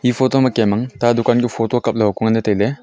photo ma kem ta dukan kuh photo kapla aho ku taile.